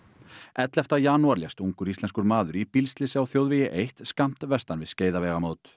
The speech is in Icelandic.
ellefta janúar lést ungur íslenskur maður í bílslysi á þjóðvegi eitt skammt vestan við